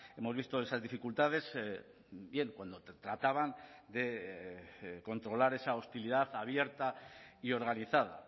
hemos visto esas dificultades bien cuando trataban de controlar esa hostilidad abierta y organizada